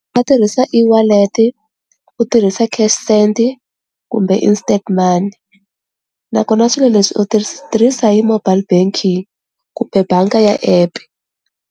A tirhisa eWallet, ku tirhisa cash send kumbe instant money nakona swilo leswi u tirhisa hi mobile banking kumbe banga ya app.